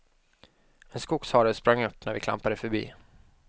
En skogshare sprang upp när vi klampade förbi.